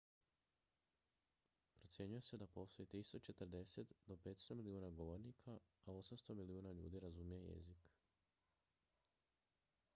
procjenjuje se da postoji 340 do 500 milijuna govornika a 800 milijuna ljudi razumije jezik